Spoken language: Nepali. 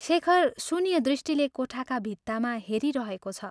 शेखर शून्यदृष्टिले कोठाका भित्तामा हेरिरहेको छ।